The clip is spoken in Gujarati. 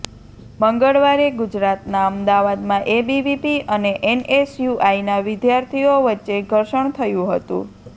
મંગળવારે ગુજરાતના અમદાવાદમાં એબીવીપી અને એનએસયુઆઈના વિદ્યાર્થીઓ વચ્ચે ઘર્ષણ થયું હતું